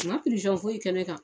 U ma foyi kɛ ne kan.